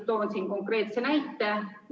Toon siinkohal konkreetse näite.